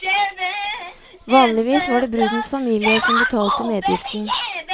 Vanligvis var det brudens familie som betalte medgiften.